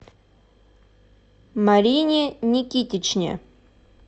марине никитичне